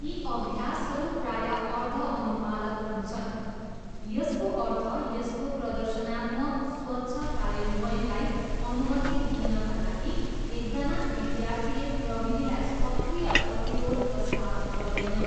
यी अभ्यासहरू प्रायः अर्धअनुपालक हुन्छन्, यसको अर्थ यसको प्रदर्शनात्मक, स्वच्छ कार्यान्वयनलाई अनुमति दिनाका लागि, एकजना विद्यार्थीले प्रविधिलाई सक्रिय प्रतिरोध प्रस्ताव गर्दैन।